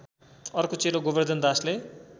अर्को चेलो गोबर्धन दासले